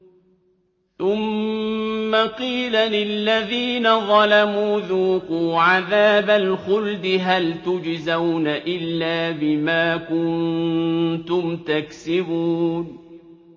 ثُمَّ قِيلَ لِلَّذِينَ ظَلَمُوا ذُوقُوا عَذَابَ الْخُلْدِ هَلْ تُجْزَوْنَ إِلَّا بِمَا كُنتُمْ تَكْسِبُونَ